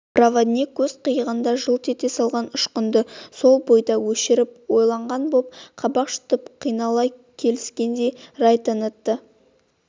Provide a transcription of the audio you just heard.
проводник көз қиығында жылт ете қалған ұшқынды сол бойда өшіріп ойланған боп қабақ шытып қинала келіскен рай танытты